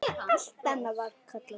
Allt annað var kallað rosti.